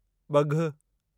ॿघु